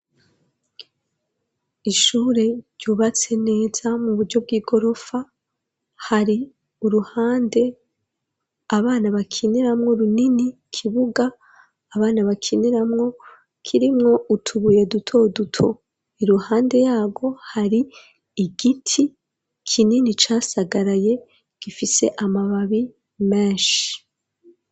Ishure ryubatse neza mu buryo bw'i gorofa hari uruhande abana bakineramwo runini, kibuga abana bakineramwo kirimwo utubuye duto duto, iruhande yaro hari igiti kinini casagaraye gifise amababi menshi.